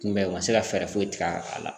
Kunbɛn u ma se ka fɛɛrɛ foyi tigɛ a la